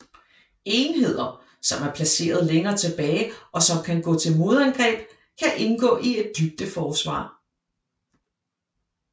Enheder som er placeret længere tilbage og som kan gå til modangreb kan indgå i et dybdeforsvar